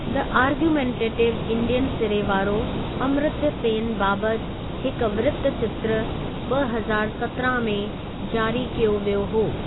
The argumentative Indian' सिरे वारो, अमर्त्य सेन बाबति हिक वृत्तचित्र, ॿ हज़ारु सत्रहां में जारी कयो वियो हो।